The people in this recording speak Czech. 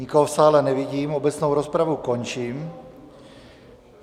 Nikoho v sále nevidím, obecnou rozpravu končím.